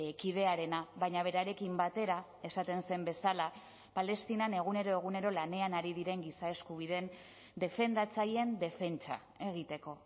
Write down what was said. kidearena baina berarekin batera esaten zen bezala palestinan egunero egunero lanean ari diren giza eskubideen defendatzaileen defentsa egiteko